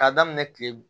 K'a daminɛ kile